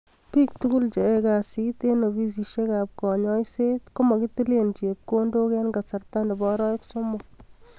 Bik tukul cheyae kazi eng ofisishek ab kanyoiset komakitilee chepkondok eng kasarta nebo arawek somok